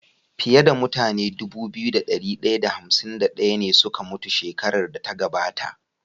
Fiya da mutane Dubu biyu da dari daya da hamsin da daya ne suka mutu shekarar da ta gabata